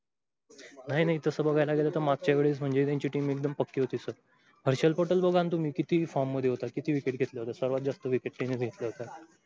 नाही नाही तस बगायला गेल तर मागच्या वेळी म्हंजे त्यांची team एकदम पक्की हुती सर. हर्षल पटेल बगा तुम्ही किती form मधे हुता, किती wicket घेतला? सर्वात जास्त wicket तेंनीच घेटला हुता.